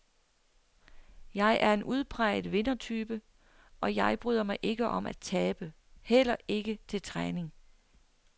Jeg er en udpræget vindertype, og jeg bryder mig ikke om at tabe, heller ikke til træning.